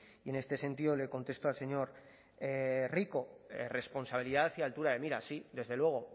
y en este sentido le contesto al señor rico responsabilidad y altura de miras sí desde luego